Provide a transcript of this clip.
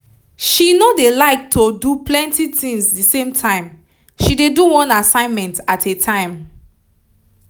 she no dey like to do plenty tinz d same time she dey do one assignment at a time